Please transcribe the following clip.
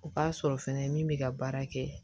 O k'a sɔrɔ fɛnɛ min bɛ ka baara kɛ